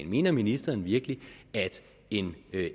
mener ministeren virkelig at en